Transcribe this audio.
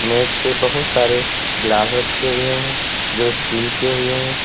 मेज पे बहुत सारे गिलास रखे हुए हैं जो स्टील के हुए हैं।